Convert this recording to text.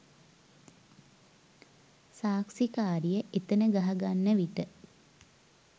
සාක්ෂිකාරිය එතැන ගහගන්න විට